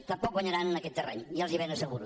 tampoc guanyaran en aquest terreny ja els hi ben asseguro